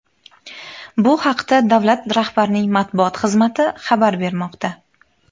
Bu haqda davlat rahbarining matbuot xizmati xabar bermoqda .